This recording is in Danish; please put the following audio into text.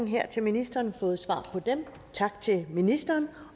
her til ministeren fået svar på dem tak til ministeren